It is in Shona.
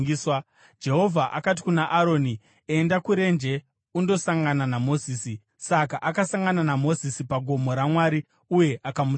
Jehovha akati kuna Aroni, “Enda kurenje undosangana naMozisi.” Saka akasangana naMozisi pagomo raMwari uye akamutsvoda.